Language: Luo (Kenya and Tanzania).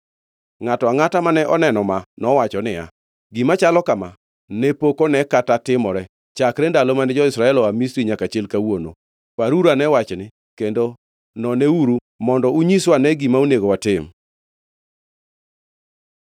Ngʼato angʼata mane oneno ma nowacho niya, “Gima chalo kama ne pok one kata timore, chakre ndalo mane jo-Israel oa Misri nyaka chil kawuono. Paruruane wachni kendo noneuru mondo unyiswa ane gima onego watim!”